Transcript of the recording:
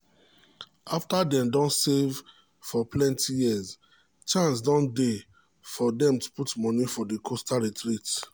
after dem save for plenty years chance don dey for dem to put money for the coastal retreat